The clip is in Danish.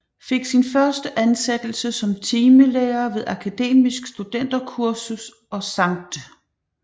Fik sin første ansættelse som timelærer ved Akademisk Studenterkursus og Skt